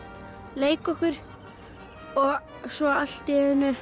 leika okkur svo allt í einu